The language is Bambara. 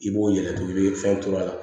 I b'o yɛlɛ i bɛ fɛnw turu a la